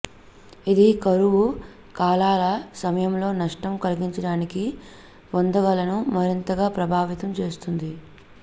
ఇది కరువు కాలాల సమయంలో నష్టం కలిగించడానికి పొదగలను మరింతగా ప్రభావితం చేస్తుంది